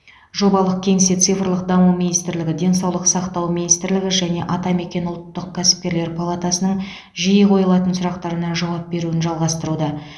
жобалық кеңсе цифрлық даму министрлігі денсаулық сақтау министрлігі және атамекен ұлттық кәсіпкерлер палатасының жиі қойылатын сұрақтарына жауап беруді жалғастыруда